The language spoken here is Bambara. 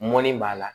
Mɔni b'a la